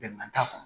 Bɛnkan t'a kɔnɔ